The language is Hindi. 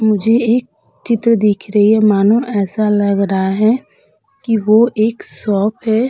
मुझे एक चित्र दिख रही है। मानो ऐसा लग रहा है कि वो एक शॉप है।